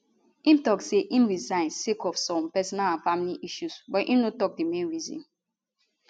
im tok say im resign sake of some personal and family issues but im no tok di main reason